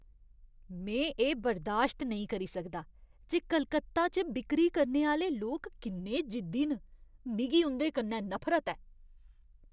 में एह् बर्दाश्त नेईं करी सकदा जे कोलकाता च बिक्करी करने आह्‌ले लोक किन्ने जिद्दी न। मिगी उं'दे कन्नै नफरत ऐ।